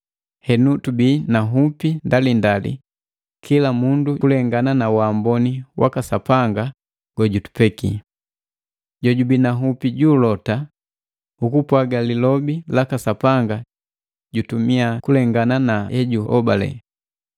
Henu tubii na nhupi ndalindali kila mundu kulengana na waamboni waka Sapanga gojutupeki. Jojubii na nhupi ju ulota ukupwaga lilobi laka Sapanga jutumia kulengana na hejuhobale.